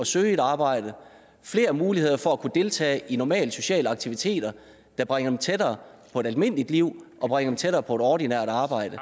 søge et arbejde flere muligheder for at kunne deltage i normale sociale aktiviteter der bringer dem tættere på et almindeligt liv og bringer dem tættere på et ordinært arbejde